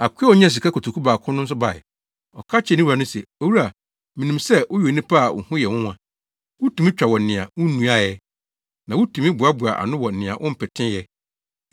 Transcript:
“Akoa a onyaa sika kotoku baako no nso bae. Ɔka kyerɛɛ ne wura no se, ‘Owura, minim sɛ woyɛ onipa a wo ho yɛ nwonwa. Wutumi twa wɔ nea wunnuae ɛ, na wutumi boaboa ano wɔ nea wompetee ɛ;